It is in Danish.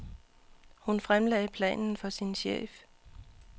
Hun fremlagde planen for sin chef.